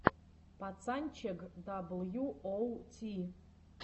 пацанчег дабл ю оу ти